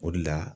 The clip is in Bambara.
O de la